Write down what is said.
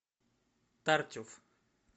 тартюф